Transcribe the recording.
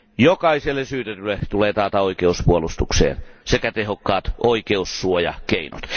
Jokaiselle syytetylle tulee taata oikeus puolustukseen sekä tehokkaat oikeussuojakeinot.